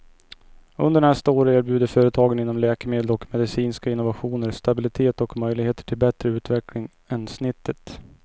Under nästa år erbjuder företagen inom läkemedel och medicinska innovationer stabilitet och möjligheter till bättre utveckling än snittet.